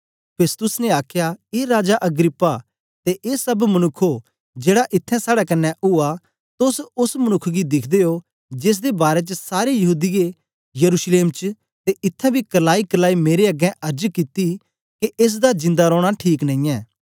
Festus ने आखया ए राजा अग्रिप्पा ते ए सब मनुक्खो जेड़ा इत्थैं साड़े कन्ने उआ तोस एस मनुक्ख गी दिखदे ओ जेसदे बारै च सारे यहूदीयें यरूशलेम च ते इत्थैं बी करलाईकरलाई मेरे अगें अर्ज कित्ती के एस दा जिंदा रौना ठीक नेईयैं